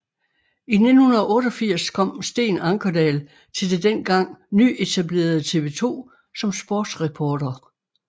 I 1988 kom Steen Ankerdal til det dengang nyetablerede TV 2 som sportsreporter